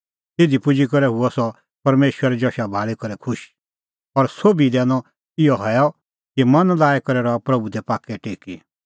तिधी पुजी करै हुअ सह परमेशरे जशा भाल़ी करै खुश और सोभी लै दैनअ इहअ हैअ कि मन लाई करै रहा प्रभू दी पाक्कै टेकी